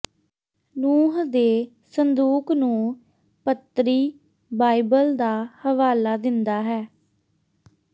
ਨੂਹ ਦੇ ਸੰਦੂਕ ਨੂੰ ਪੱਤ੍ਰੀ ਬਾਈਬਲ ਦਾ ਹਵਾਲਾ ਦਿੰਦਾ ਹੈ